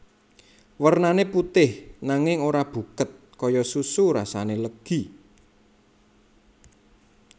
Wernané putih nanging ora buket kaya susu rasane legi